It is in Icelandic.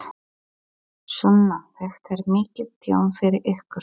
Sunna: Þetta er mikið tjón fyrir ykkur?